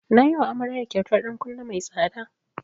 Na yiwa amaryar kyautar ɗan kunne mai tsada.